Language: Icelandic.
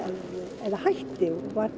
eða hætti